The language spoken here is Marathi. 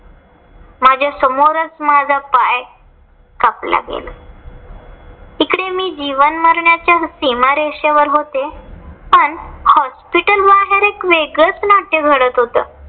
माझ्या समोरच माझा पाय कापला गेला. तिकडे मी जीवन मरणाच्या सीमारेषेवर होते पण hospital वर एक वेगळाच नाट्य घडत होतं.